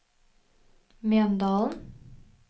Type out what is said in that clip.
Mjøndalen